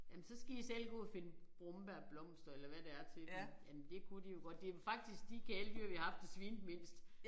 Jamen så skal I selv gå og finde brombærblomster eller hvad det er til dem. Jamen det kunne de jo godt det faktisk de kæledyr vi har haft der svinede mindst